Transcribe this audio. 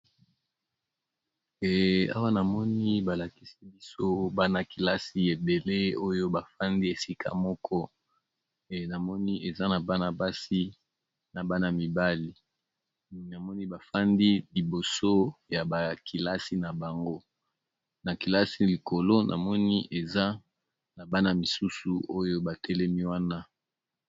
Awa namoni balakisi biso bana-kilasi ebele oyo bafandi esika moko, namoni eza na bana-basi na bana mibali namoni bafandi liboso ya bakilasi na bango. Nakilasi likolo namoni eza na bana misusu oyo batelemi wana.